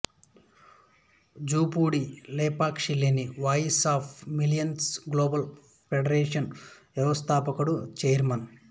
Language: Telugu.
జూపూడి లాభాపేక్షలేని voice of millions global foundation వ్యవస్థాపకుడు ఛైర్మన్